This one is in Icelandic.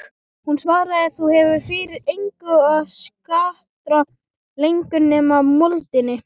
Hún svaraði: Þú hefur fyrir engum að skarta lengur nema moldinni.